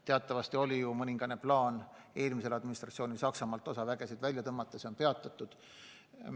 Teatavasti oli eelmisel administratsioonil plaan Saksamaalt osa üksusi välja tõmmata – see on peatatud.